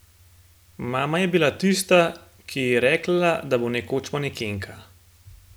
Mama je bila tista, ki ji je rekla, da bo nekoč manekenka.